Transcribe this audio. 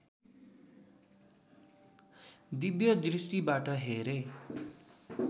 दिव्य दृष्टिबाट हेरे